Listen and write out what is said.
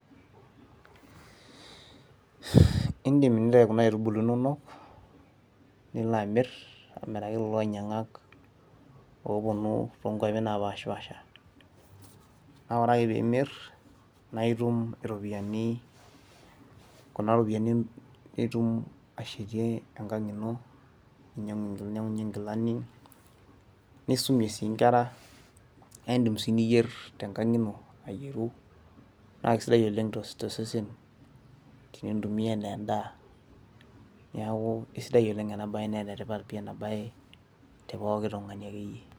idim nintayu kuna aitubulu inonok, nilo amir amiraki kulo ainyiang'ak linonok oopuonu too nkuapi naapashipaasha, naa ore ake pee imir naa itum iropiyiani, kunaropiyiani itum ashetie enkang ino, ninyiangunye nkilani nisumie sii nkera. naa idim sii niyier tenkang ino naa kisidai oleng tosesen tenintumia anaa edaa. neku isidai oleng naa enetipat si ena bae te pooki tungani akeyie.